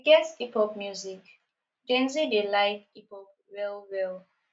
we get hip pop music gen z dey like hip pop well well